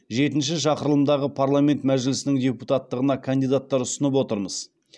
жетінші шақырылымдағы парламент мәжілісінің депутаттығына кандидаттар ұсынып отырмыз